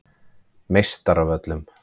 Meistaravöllum